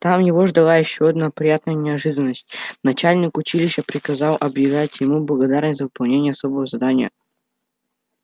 там его ждала ещё одна приятная неожиданность начальник училища приказом объявлял ему благодарность за выполнение особого задания